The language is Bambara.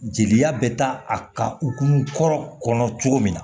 Jeli bɛ taa a ka lun kɔrɔ kɔnɔ cogo min na